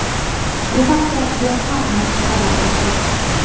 Bu haqda Yonhap nashri xabar berdi .